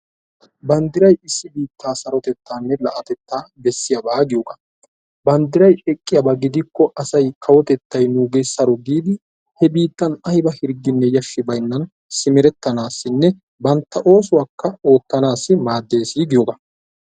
Banddiray issi biittaa sarotettaanne la'atetta bessiyaaba giyoogaa banddiray eqqiyaaba gidikko asay kawotettay nuugee saro giidi he biittan ayba hirggine yashshi baynnan simerettanaassinne bantta oosuwaakka oottanaasi maaddes giyoogaa.